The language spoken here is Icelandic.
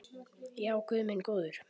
Já, guð minn góður.